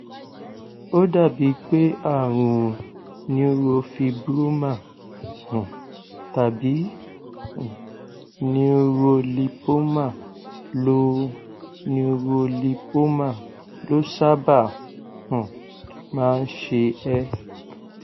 ó dàbí pé àrùn neurofibroma um tàbí um neurolipoma ló neurolipoma ló sábà um máa ń ṣe ẹ